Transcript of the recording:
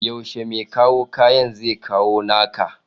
yaushe me kawo kayan zekawo naka?